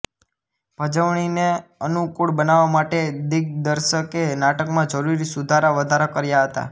ભજવણીને અનુકૂળ બનાવવા માટે દિગ્દર્શકે નાટકમાં જરૂરી સુધારાવધારા કર્યા હતા